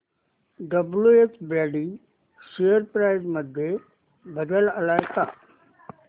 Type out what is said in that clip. WH Brady share price मध्ये बदल आलाय का